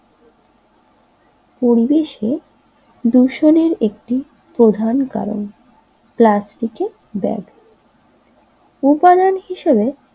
পরিবেশের দূষণের একটি প্রধান কারণ প্লাস্টিকের ব্যাগ উপাদান হিসেবে